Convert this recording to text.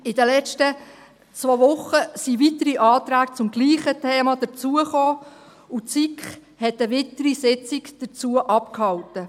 In den letzten zwei Wochen kamen weitere Anträge zum selben Thema dazu, und die SiK hielt eine weitere Sitzung dazu ab.